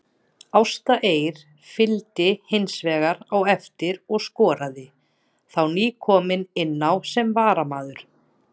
Ásta Eir fylgdi hinsvegar á eftir og skoraði, þá nýkomin inná sem varamaður.